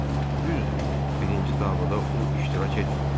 Düzdür, birinci davada o iştirak etmədi.